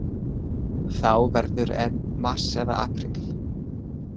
Þá verður enn mars eða apríl.